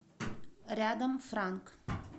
рядом франк